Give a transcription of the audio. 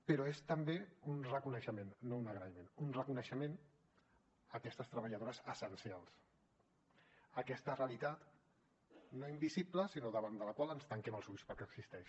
però és també un reconeixement no un agraïment un reconeixement a aquestes treballadores essencials aquesta realitat no invisible sinó davant de la qual ens tanquem els ulls perquè existeix